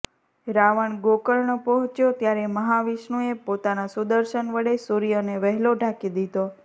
રાવણ ગોકર્ણ પહોંચ્યો ત્યારે મહાવિષ્ણુએ પોતાના સુદર્શન વડે સૂર્યને વહેલો ઢાંકી દીધો